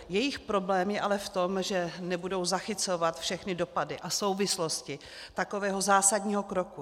Jejich problém je ale v tom, že nebudou zachycovat všechny dopady a souvislosti takového zásadního kroku.